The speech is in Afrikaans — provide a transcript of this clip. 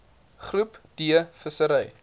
groep d vissery